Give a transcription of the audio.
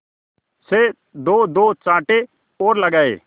से दोदो चांटे और लगाए